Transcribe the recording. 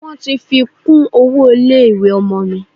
Wọ́n ti fi kún owó ilé ìwé ọmọ mi.